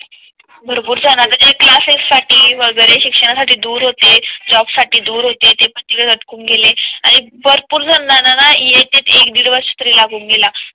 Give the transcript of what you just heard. भरपूर जाणारी आता जे क्लासेस साठी वगैरे शिक्षणासाठी दूर होती. जॉब साठी दूर होते ते पण तिकडेच अटकून गेले आणि भरपूर जणांना ना येत येत एक दीड वर्ष तरी लागून केला.